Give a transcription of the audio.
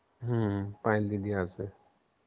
হম পায়েলদিদি আসবে